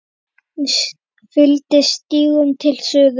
Hún fylgdi stígnum til suðurs.